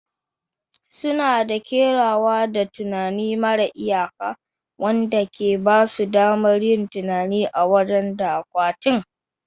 Suna da kerawa da tunani mara iyaka, wanda ke ba su damar yin tunani a waje da akwatin